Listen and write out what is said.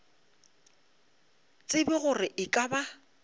tsebe gore e ka ba